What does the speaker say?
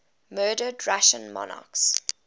murdered russian monarchs